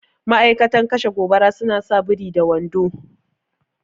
Ma'aikatan kashe gobara suna sa biri da wando